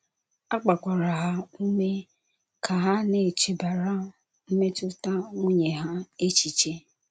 A gbakwara ha ume ka ha na - echebara mmetụta nwunye ha echiche.